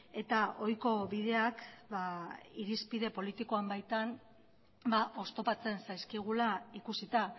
eta ohiko bideak irizpide politikoan baitan oztopatzen zaizkigula ikusita